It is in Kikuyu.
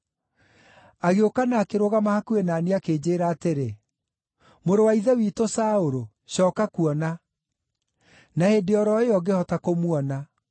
Agĩũka na akĩrũgama hakuhĩ na niĩ akĩnjĩĩra atĩrĩ, ‘Mũrũ wa ithe witũ Saũlũ, cooka kuona!’ Na hĩndĩ o ro ĩyo ngĩhota kũmuona.